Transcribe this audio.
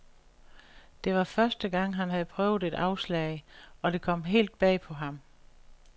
Det var første gang han havde prøvet et afslag, og det kom helt bag på ham.